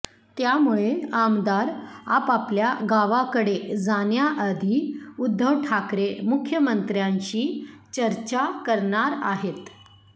त्यामुळे आमदार आपापल्या गावाकडे जाण्याआधी उद्धव ठाकरे मुख्यमंत्र्यांशी चर्चा करणार आहेत